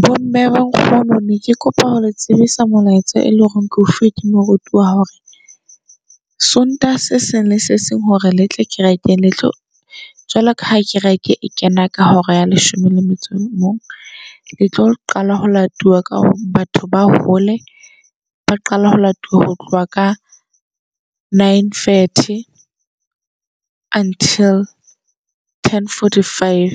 Bo mme, bo nkgono neke kopa ho le tsebisa molaetsa e leng hore keo fuwe ke moruti wa hore Sontaha se seng le se seng hore le tlo kerekeng letlo . Jwale ka ha kereke e kena ka hora ya leshome le metso o mong, le tlo qala ho latiwa ka hore batho ba hole. Ba qala ho latuwa ho tloha ka nine thirty until ten forty five.